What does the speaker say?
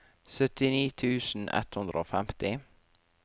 syttini tusen ett hundre og femti